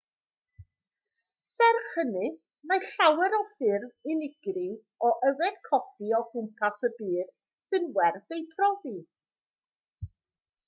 serch hynny mae llawer o ffyrdd unigryw o yfed coffi o gwmpas y byd sy'n werth eu profi